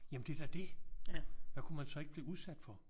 Jamen det er da det! Hvad kunne man så ikke blive udsat for?